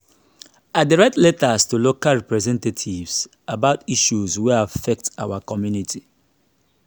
i dey write letters to local representatives about issues wey affect our community.